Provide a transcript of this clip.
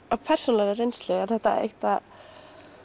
af persónulegri reynslu er þetta